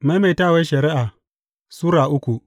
Maimaitawar Shari’a Sura uku